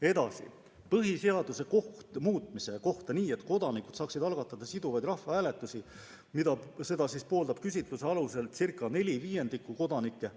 Edasi, põhiseaduse muutmist nii, et kodanikud saaksid algatada siduvaid rahvahääletusi, pooldab küsitluste alusel ca neli viiendikku kodanikest.